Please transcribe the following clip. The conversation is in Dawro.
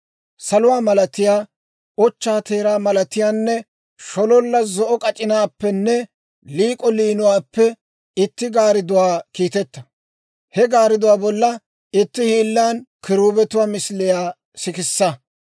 «Saluwaa malatiyaa, ochchaa teeraa malatiyaanne shololla zo'o k'ac'inaappenne liik'o liinuwaappe itti gaardduwaa kiiteta; he gaardduwaa bolla itti hiillan kiruubetuwaa misiliyaa sikissa.